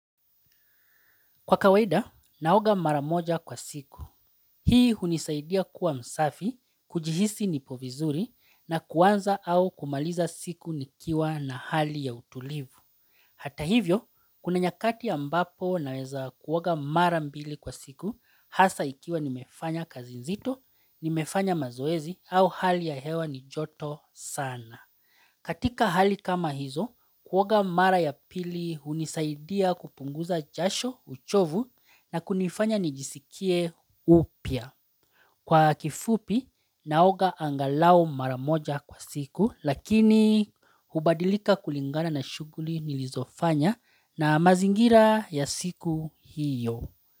Kwa kawaida, naoga mara moja kwa siku. Hii hunisaidia kuwa msafi, kujihisi nipo vizuri na kuanza au kumaliza siku nikiwa na hali ya utulivu. Hata hivyo, kuna nyakati ambapo naweza kuoga mara mbili kwa siku hasa ikiwa nimefanya kazi nzito, nimefanya mazoezi au hali ya hewa ni joto sana. Katika hali kama hizo, kuoga mara ya pili hunisaidia kupunguza jasho uchovu na kunifanya nijisikie upya. Kwa kifupi, naoga angalau mara moja kwa siku lakini hubadilika kulingana na shughuli nilizofanya na mazingira ya siku hiyo.